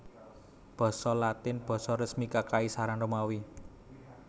Basa Latin basa resmi Kakaisaran Romawi